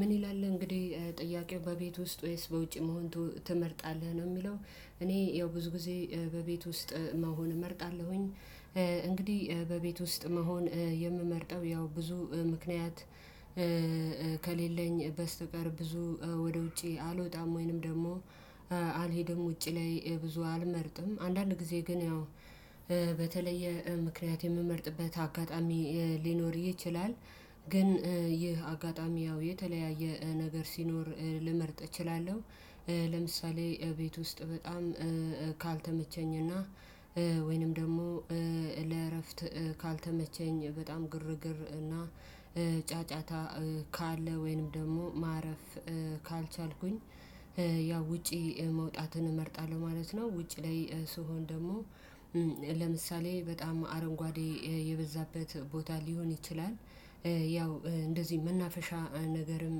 ምን ይላል እንግዲህ ጥያቄው በቤት ውስጥ ወይስ በውጭ መሆን ትመርጣለህ ነው የሚለው? እኔ ያው ብዙ ጊዜ በቤት ውስጥ መሆን እመርጣለሁኝ። እንግዲህ በቤት ውስጥ መሆን የምመርጠው ያው ብዙ ምክንያት ከሌለኝ በስተቀር ብዙ ወደ ውጪ አልወጣም ወይንም ደግሞ አልሄደም ውጪ ላይ ብዙ አልመርጥም አንዳንድ ጊዜ ግን ያው በተለየ ምክንያት የምመርጥበት አጋጣሚ ሊኖር ይችላል። ግን ይህ አጋጣሚ ያው የተለያየ ነገር ሲኖር ልመርጥ እችላለሁ። ለምሳሌ ቤት ውስጥ በጣም ካልተመቸኝና ወይንም ደግሞ ለእረፍት ካልተመቸኝ በጣም ግርግር እና ጫጫታ ካለ ወይንም ደግሞ ማረፍ ካልቻልኩኝ ያው ውጪ መውጣትን እመርጣለሁ ማለት ነው። ውጪ ላይ ስሆን ደግሞ ለምሳሌ በጣም አረንጓዴ የበዛበት ቦታ ሊሆን ይችላል ያው እንደዚህ መናፈሻ ነገርም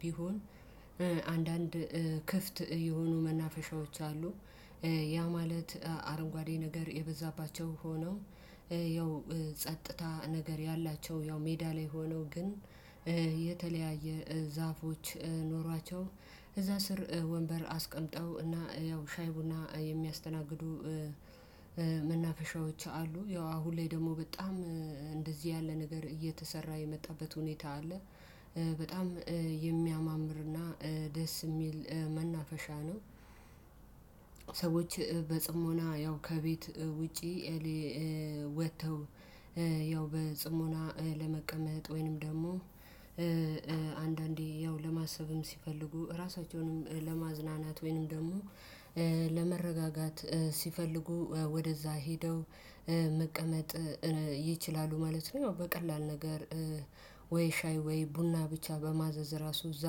ቢሆን አንዳንድ ክፍት የሆኑ መናፈሻዎች አሉ። ያ ማለት አረንጓዴ ነገር የበዛባቸው ሆነው ያው ጸጥታ ነገር ያላቸው ያው ሜዳ ላይ ሆኖ ግን የተለያየ ዛፎች ኖሯቸው እዛ ስር ወንበር አስቀምጠው እና ያው ሻይ ቡና የሚያስተናግዱ መናፈሻዎች አሉ ያው አሁን ላይ ደግሞ በጣም እንደዚህ ያለ ነገር እየተሰራ የመጣበት ሁኔታ አለ። በጣም የሚያማምር እና ደስ የሚል መናፈሻ ነው። ሰዎች በጽሞና ያው ከቤት ውጪ ወጥተው ያው በጽሞና ለመቀመጥ ወይንም ደግሞ አንዳንዴ ያው ለማሰብም ሲፈልጉ ራሳቸውንም ለማዝናናት ወይንም ደግሞ ለመረጋጋት ሲፈልጉ ወደዛ ሄደው መቀመጥ ይችላሉ ማለት ነው። በቀላል ነገር ወይ ሻይ ወይ ቡና ብቻ በማዘዝ ራሱ እዛ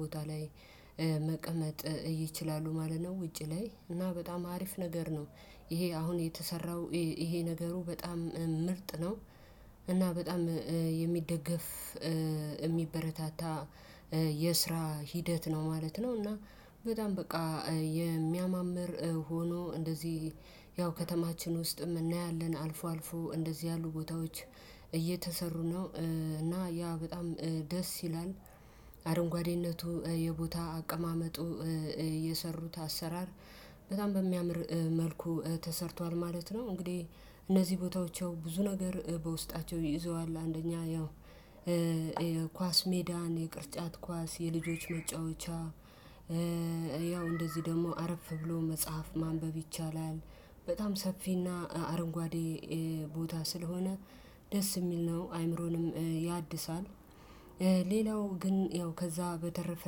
ቦታ ላይ መቀመጥ ይችላሉ ማለት ነው። ውጪ ላይ እና በጣም አሪፍ ነገር ነው። ይሄ አሁን የተሰራው ይሄ ነገሩ በጣም ምርጥ ነው። እና በጣም የሚደገፍ የሚበረታታ የስራ ሂደት ነው ማለት ነው። እና በጣም በቃ የሚያማምር ሆኖ እንደዚህ ያው ከተማችን ውስጥም እናያለን አልፎ አልፎ እንደዚህ ያሉ ቦታዎች እየተሰሩ ነው። እና ያ በጣም ደስ ይላል። አረንጓዴነቱ የቦታ አቀማመጡ የሰሩት አሰራር በጣም በሚያምር መልኩ ተሰርቷል ማለት ነው። እንግዲህ እነዚህ ቦታዎች ያው ብዙ ነገር በውስጣቸው ይዘዋል አንደኛ ያው ኳስ ሜዳን የቅርጫት ኳስ የልጆች መጫወቻ ያው እንደዚህ ደግሞ አረፍ ብሎ መጽሐፍ ማንበብ ይቻላል። በጣም ሰፊና አረንጓዴ ቦታ ስለሆነ ደስ የሚል ነው አይምሮንም ያድሳል። ሌላው ግን ያው ከዛ በተረፈ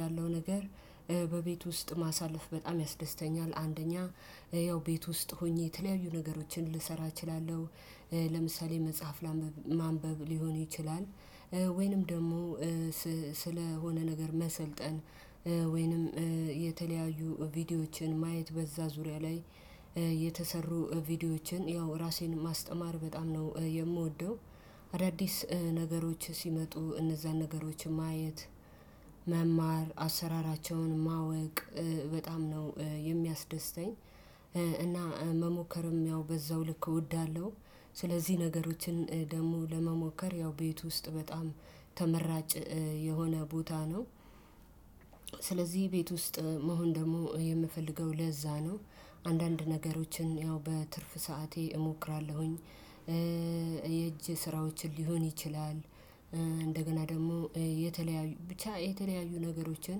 ያለው ነገር በቤት ውስጥ ማሳለፍ በጣም ያስደስተኛል። አንደኛ ያው ቤት ውስጥ ሆኜ የተለያዩ ነገሮችን ልሰራ እችላለሁ። ለምሳሌ መጽሐፍ ላንብብ ማንበብ ሊሆን ይችላል። ወይንም ደግሞ ስለሆነ ነገር መሰልጠን ወይንም የተለያዩ ቪዲዮዎችን ማየት በዛ ዙሪያ ላይ የተሰሩ ቪዲዮዎችን ያው ራሴን ማስተማር በጣም ነው የምወደው። አዳዲስ ነገሮች ሲመጡ እነዛን ነገሮች ማየት መማር አሰራራቸውን ማወቅ በጣም ነው የሚያስደስተኝ። እና መሞከርም ያው በዛው ልክ እወዳለሁ። ስለዚህ ነገሮችን ደግሞ ለመሞከር ያው ቤት ውስጥ በጣም ተመራጭ የሆነ ቦታ ነው። ስለዚህ ቤት ውስጥ መሆን ደግሞ የምፈልገው ለዛ ነው። አንዳንድ ነገሮችን ያው በትርፍ ሰዓቴ እሞክራለሁኝ። ስራዎችን ሊሆን ይችላል። እንደገና ደግሞ የተለያዩ ብቻ የተለያዩ ነገሮችን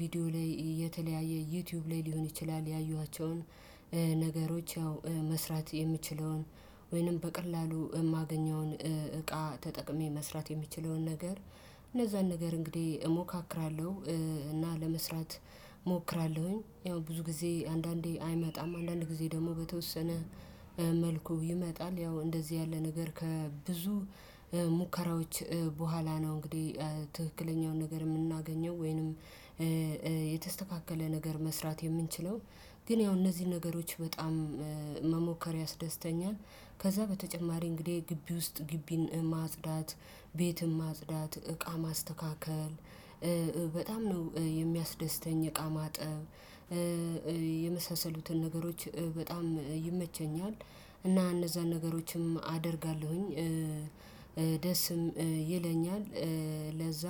ቪዲዮ ላይ የተለያየ ዩቲዩብ ላይ ሊሆን ይችላል ያዩዋቸውን ነገሮች ያው መስራት የምችለውን ወይንም በቀላሉ የማገኘውን እቃ ተጠቅሜ መስራት የሚችለውን ነገር እነዛን ነገር እንግዲህ እሞካክራለሁ። እና ለመስራት እሞክራለሁኝ ያው ብዙ ጊዜ አንዳንዴ አይመጣም አንዳንድ ጊዜ ደግሞ በተወሰነ መልኩ ይመጣል። ያው እንደዚህ ያለ ነገር ከብዙ ሙከራዎች በኋላ ነው። እንግዲህ ትክክለኛውን ነገር የምናገኘው ወይንም የተስተካከለ ነገር መስራት የምንችለው ግን ያው እነዚህን ነገሮች በጣም መሞከር ያስደስተኛል። ከዛ በተጨማሪ እንግዲህ ግቢ ውስጥ ግቢን ማጽዳት ቤትም ማጽዳት እቃ ማስተካከል በጣም ነው። የሚያስደስተኝ እቃ ማጠብ የመሳሰሉትን ነገሮች በጣም ይመቸኛል። እና እነዛን ነገሮችም አደርጋለሁኝ። ደስም ይለኛል። ለዛ